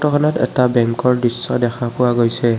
খনত এটা বেংকৰ দৃশ্য দেখা পোৱা গৈছে।